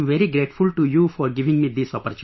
I am very grateful to you for giving me this opportunity